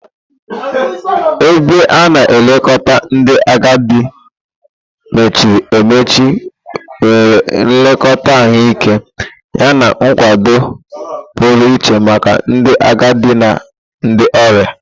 Ebe a na-elekọta ndị agadi mechiri emechi nwere nlekọta ahụike yana nkwado pụrụ iche maka ndị agadi na ndị ọrịa.